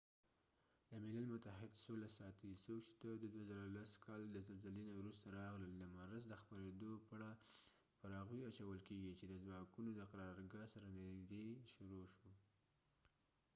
د ملل متحد سوله ساتي څوک چې haiti ته د 2010 کال د زلزلې نه وروسته راغلل د مرض د خپریدو پړه پر هغوی اچول کیږي چې د ځواکونو د قرارګاه سره نژدې شروع شو